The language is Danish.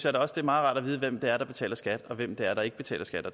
også meget rart at vide hvem det er der betaler skat og hvem det er der ikke betaler skat